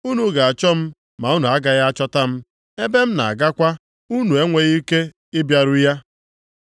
Unu ga-achọ m ma unu agaghị achọta m. Ebe m na-agakwa unu enweghị ike ịbịaru ya.”